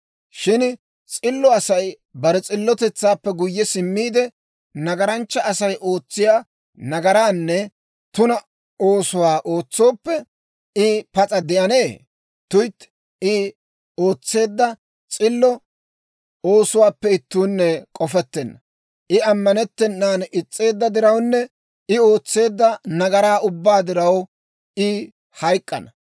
« ‹Shin s'illo Asay bare s'illotetsaappe guyye simmiide, nagaranchcha Asay ootsiyaa nagaraanne tuna oosuwaa ootsooppe, I pas'a de'anee? Tuytti, I ootseedda s'illo oosuwaappe ittuunne k'ofettenna; I ammanettennan is's'eedda dirawunne I ootseedda nagaraa ubbaa diraw, I hayk'k'ana.